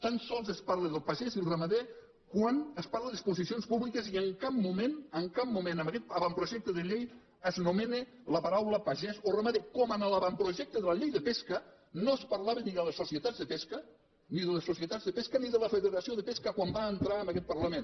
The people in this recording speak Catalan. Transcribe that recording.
tan sols es parla del pagès i el ramader quan es parla de disposicions públiques i en cap moment en cap moment en aguest avantprojecte de llei s’anomena la paraula pagès o ramader com en l’avantprojecte de la llei de pesca no es parlava ni de les societats de pesca ni de les societats de pesca ni de la federació de pesca quan va entrar en aquest parlament